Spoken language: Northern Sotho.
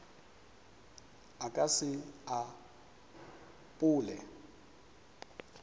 a ka se e apole